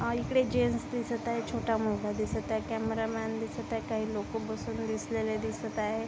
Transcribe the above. आ इकडे जेन्ट्स दिसत आहेत छोटा मुलगा दिसत आहे कैमरामैन दिसत आहे काही लोक बसून दिसलेले दिसत आहे.